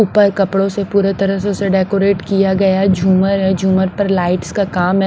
ऊपर कपड़ों से पूरे तरह से उसे डेकोरेट किया गया हैझूमर है झूमर पर लाइट्स का काम है।